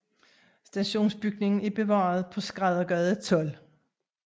Stationsbygningen er bevaret på Skræddergade 12